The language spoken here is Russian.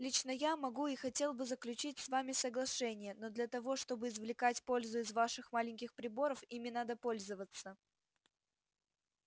лично я могу и хотел бы заключить с вами соглашение но для того чтобы извлекать пользу из ваших маленьких приборов ими надо пользоваться